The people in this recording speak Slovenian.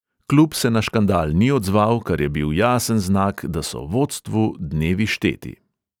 Klub se na škandal ni odzval, kar je bil jasen znak, da so vodstvu dnevi šteti.